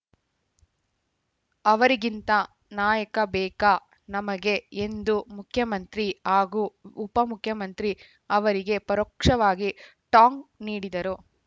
ಅವರಿಗಿಂತ ನಾಯಕ ಬೇಕಾ ನಮಗೆ ಎಂದು ಮುಖ್ಯಮಂತ್ರಿ ಹಾಗೂ ಉಪಮುಖ್ಯಮಂತ್ರಿ ಅವರಿಗೆ ಪರೋಕ್ಷವಾಗಿ ಟಾಂಗ್‌ ನೀಡಿದರು